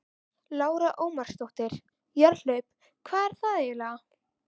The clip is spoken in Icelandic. Lára Ómarsdóttir: Jarðhlaup, hvað er það eiginlega?